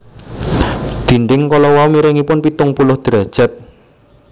Dinding kala wau miringipun pitung puluh derajat